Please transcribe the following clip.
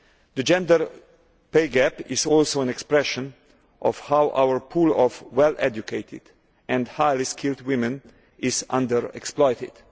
The gender pay gap is also an expression of how our pool of well educated and highly skilled women is under exploited.